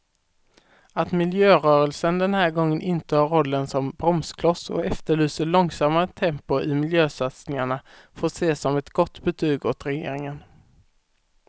Att miljörörelsen den här gången intar rollen som bromskloss och efterlyser långsammare tempo i miljösatsningarna får ses som ett gott betyg åt regeringen.